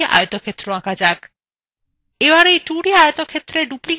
এবার এই 2d আয়তক্ষেত্রে ডুপ্লিকেসন ব্যবহার করে effect তৈরী করা যাক